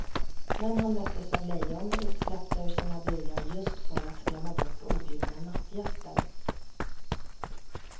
Men han möttes av lejon, utsläppta ur sina burar just för att skrämma bort objudna nattgäster.